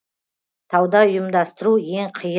тауда ұйымдастыру ең